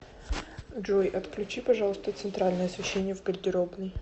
джой отключи пожалуйста центральное освещение в гардеробной